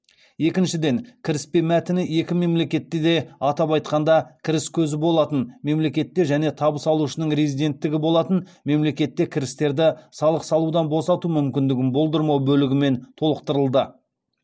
екіншіден кіріспе мәтіні екі мемлекетте де атап айтқанда кіріс көзі болатын мемлекетте және табыс алушының резиденттігі болатын мемлекетте кірістерді салық салудан босату мүмкіндігін болдырмау бөлігімен толықтырылды